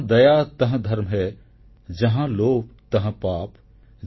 ଜହାଁ ଦୟା ତହଁ ଧର୍ମ ହେ ଜହାଁ ଲୋଭ୍ ତହଁ ପାପ୍